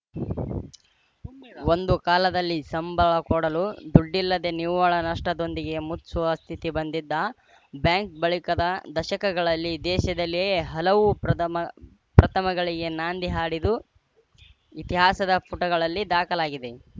ಒಂದು ಕಾಲದಲ್ಲಿ ಸಂಬವ ಕೊಡಲೂ ದುಡ್ಡಿಲ್ಲದೆ ನಿವ್ವಳ ನಷ್ಟದೊಂದಿಗೆ ಮುಚ್ಚುವ ಸ್ಥಿತಿ ಬಂದಿದ್ದ ಬ್ಯಾಂಕ್‌ ಬಳಿಕದ ದಶಕಗಳಲ್ಲಿ ದೇಶದಲ್ಲಿಯೇ ಹಲವು ಪ್ರಧಮ್ ಪ್ರಥಮಗಳಿಗೆ ನಾಂದಿ ಹಾಡಿದು ಇತಿಹಾಸದ ಪುಟಗಳಲ್ಲಿ ದಾಖಲಾಗಿದೆ